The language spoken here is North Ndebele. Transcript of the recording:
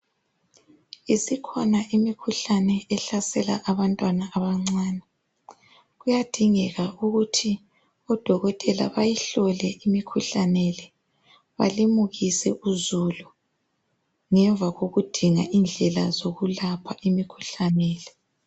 Isikhona imikhuhlane ehlasela abantwana abancane. Kuyadingeka ukuthi odokotela bayihlole imikhuhlane le, balimukise uzulu ngemva kokudinga indlela zokulapha imikhuhlane le.